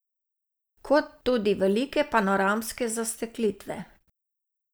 Kot tudi velike panoramske zasteklitve.